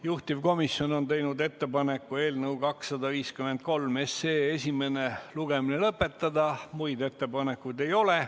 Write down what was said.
Juhtivkomisjon on teinud ettepaneku eelnõu 253 esimene lugemine lõpetada, muid ettepanekuid ei ole.